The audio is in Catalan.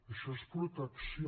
això és protecció